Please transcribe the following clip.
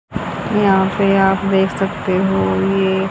यहां पे आप देख सकते हो ये--